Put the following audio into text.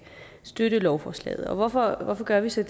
støtte lovforslaget hvorfor gør vi så